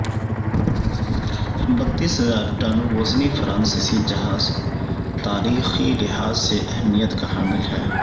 بتیس ہزار ٹن وزنی فرانسیسی جہاز تاریخی لحاظ سے اہمیت کا حامل ہے